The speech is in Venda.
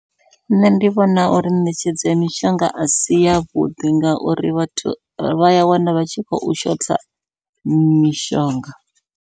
Nṋe ndi vhona uri ṋetshedzo ya mishonga asi yavhuḓi, ngauri vhathu vha ya wana vha tshi khou shotha mishonga.